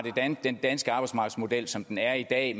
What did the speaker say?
den danske arbejdsmarkedsmodel som den er i dag